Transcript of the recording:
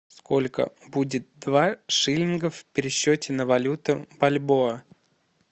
сколько будет два шиллинга в пересчете на валюту бальбоа